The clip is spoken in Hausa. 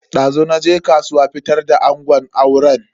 Dazu naje kasuwa fitar da angon auren.